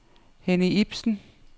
Henny Ipsen